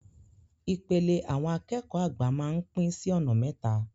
Ìpele àwọn akẹ́kọ̀ọ́ àgbà máa ń pín sí ọ̀nà mẹ́ta.